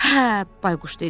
Hə, Bayquş dedi.